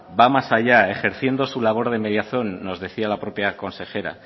va más allá ejerciendo su labor de mediación nos decía la propia consejera